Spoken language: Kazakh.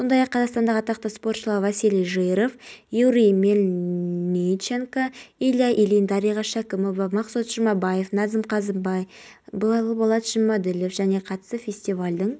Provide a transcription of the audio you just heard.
оқиға болған жерде өрт сөндірушілер мен жедел жәрдем қызметі жұмыс істеуде бұл ақпаратты елорда әкімдігінің ахуал